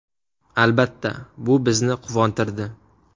Albatta, bu bizni quvontirdi.